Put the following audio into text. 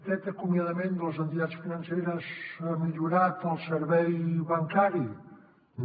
aquest acomiadament de les entitats financeres ha millorat el servei bancari no